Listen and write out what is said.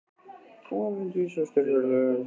Hún var fundvís á styrkleika hans.